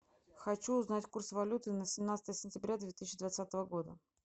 хочу узнать курс валюты на семнадцатое сентября две тысячи двадцатого года